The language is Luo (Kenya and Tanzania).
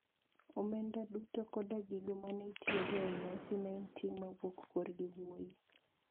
Omenda duto koda gigo ma ne itiyogo e nyasi ne en ting` mawuok korgi wuoyi.